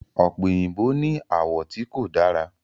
ope oyinbo ní àwọ̀ tí kò dára.